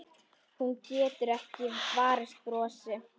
Hún getur ekki varist brosi.